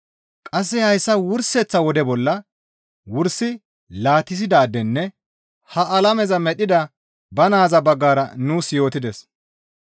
Qasse hayssa wurseththa wode bolla wursi laatissidaadenne ha alameza medhdhida ba naaza baggara nuus yootides.